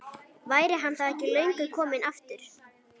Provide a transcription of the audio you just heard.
Væri hann þá ekki löngu kominn aftur?